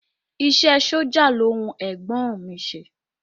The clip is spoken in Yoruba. Iṣẹ́ ẹ sójà ló wu ẹ̀gbọ́n ọ̀n mi i ṣe